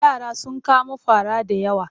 Yara sun kamo fara da yawa.